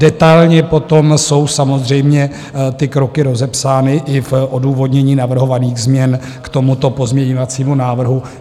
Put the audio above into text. Detailně potom jsou samozřejmě ty kroky rozepsány i v odůvodnění navrhovaných změn k tomuto pozměňovacímu návrhu.